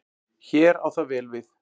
Hér á það vel við.